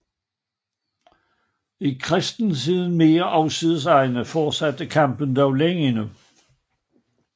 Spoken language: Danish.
I kristenhedens mere afsides egne fortsatte kampen dog længe endnu